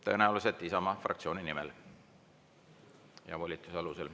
Tõenäoliselt Isamaa fraktsiooni nimel ja volituse alusel.